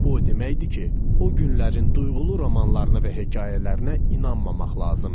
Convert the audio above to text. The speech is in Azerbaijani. Bu o deməkdir ki, o günlərin duyğulu romanlarına və hekayələrinə inanmamaq lazımdır.